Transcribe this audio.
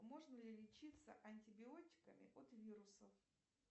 можно ли лечиться антибиотиками от вирусов